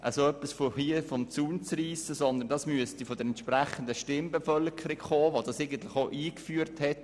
Vielmehr müsste der Impuls von der Stimmbevölkerung kommen, die das Modell eingeführt hat.